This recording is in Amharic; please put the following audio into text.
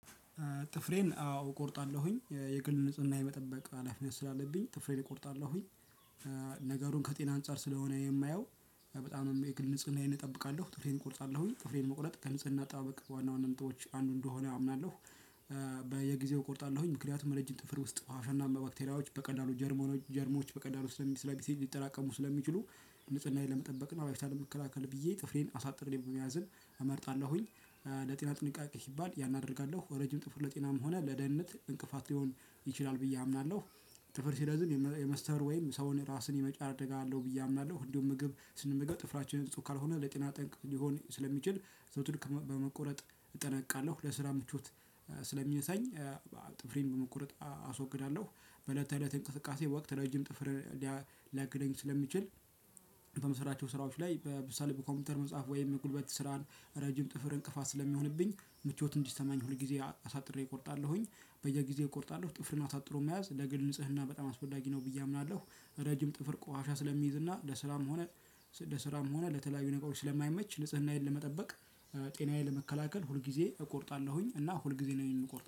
ጥፍሬን አዎ እቆርጣለሁኝ። የግል ንጽህና የመጠበቅ ሃለፊነት ስላለብኝ ጥፍሬን እቆረጣለሁኝ። ነገሩን ከጤና አንፃር ስለሆነ የማየው በጣም የግል ንጽህናዬን እጠብቃለሁ። ጥፍሬን እቆርጣለሁኝ ጥፍሬን መቁረጥ ከንጽህና አጠባበቅ ዋና ዋና ነጥቦች አንዱ እንደሆነ አምናለሁ። በየጊዜው እቆርጣለሁኝ። ምክንያቱም ረጅም ጥፍር ውስጥ አፈርና ባክቴሪያዎች በቀላሉ ጀርሞኖች ጀርሞች በቀላሉ ስለሚሰራ ቢስሄድ ሊጠራቀሙ ስለሚችሉ ንጽህናዬን ለመጠበቅ እና ከበሽታ ለመከላከል ብዬ ጥፍሬን አሳጥሬ መያዝን እመርጣለሁኝ። ለጤና ጥንቃቄ ሲባል ያን አደርጋለሁ ረጅም ጥፍር ለጤናም ሆነ ለደህንነት እንቅፋት ሊሆን ይችላል ብዬ አምናለሁ። ጥፍር ሲረዝም የመስተር ወይም ሰውን ራስን የመጫር አለው። ብዬ አምናለሁ እንደውም ምግብ ስንመገብ ጥፍራችን ንጹህ ካልሆነ ለጤና ጠንቅ ሊሆን ስለሚችል ዘወትር በመቆረጥ እጠነቀቃለሁ። ለስራ ምቾት ስለሚነሳኝ ጥፍሬን በመቁረጥ አስወግዳለሁ። በእለት ተእለት እንቅስቃሴ ወቅት ረጅም ጥፍር ሊያግደኝ ስለሚችል በምሰራቸው ስራዎች ላይ በምሳሌ በኮምፒውተር መጻፍ ወይም የጉልበት ስራን ረጅም ጥፍር እንቅፋት ስለሚሆንብኝ ምቾት እንዲሰማኝ ሁል ጊዜ አሳጥሬ እቆርጣለሁኝ። በየጊዜው እቆርጣለሁ ጥፍርን አሳጥሮ መያዝ ለግል ንጽህና በጣም አስፈላጊ ነው ብዬ አምናለሁ። ረጅም ጥፍር ቆሻሻ ስለሚይዝ እና ለስራም ሆነ ለስራም ሆነ ለተለያዩ ነገሮች ስለማይመች ንጽህናዬን ለመጠበቅ ጤናዬን ለመከላከል ሁል ጊዜ እቆርጣለሁኝ። እና ሁል ጊዜ ነው የምቆርጠው።